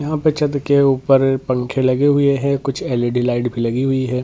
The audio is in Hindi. यहां पे छत के ऊपर पंख लगे हुए हैं कुछ एल.ई.डी. लाइट् भी लगी हुई है।